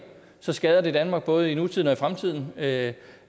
så skader det danmark både i nutiden og i fremtiden at